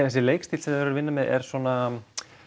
þessi leikstíll sem þau eru að vinna með er svona